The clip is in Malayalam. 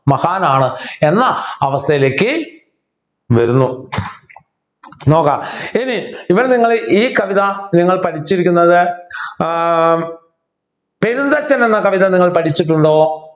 മഹാനാണ് എന്ന അവസ്ഥയിലേക്ക് വരുന്നു നോക്കാം ഇനി ഇവിടെ നിങ്ങൾ ഈ കവിത നിങ്ങൾ പഠിച്ചിരിക്കുന്നത് ഏർ പെരുന്തച്ചൻ എന്ന കവിത നിങ്ങൾ പഠിച്ചിട്ടുണ്ടോ